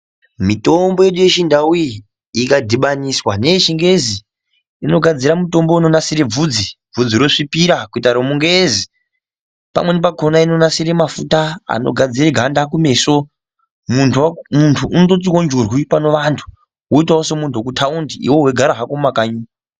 Mitombo yedu yechindau iyi ikadhibaniswa neyechingezi inogadzira mutombo unonasire bvudzi bvudzi rozvipira kuita remungezi pamweni pakona inonasire mafuta anogadzire ganda kumeso muntu ondotiwo njurwi panevantu woitawo semuntu wekutaundi iwewe weigara hako mumakanyi.